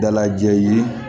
Dalajɛ ye